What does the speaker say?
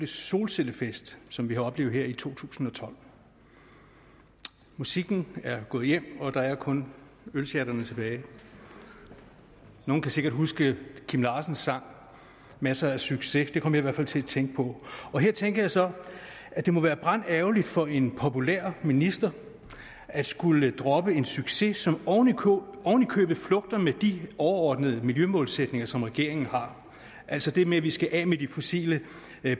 solcellefest som vi har oplevet her i to tusind og tolv musikken er gået hjem og der er kun ølsjatterne tilbage nogen kan sikkert huske kim larsens sang masser af succes den kom jeg i hvert fald til at tænke på her tænker jeg så at det må være brandærgerligt for en populær minister at skulle droppe en succes som ovenikøbet flugter med de overordnede miljømålsætninger som regeringen har altså det med at vi skal af med de fossile